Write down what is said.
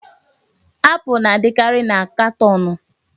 Apụl na-adịkarị na katọọnụ.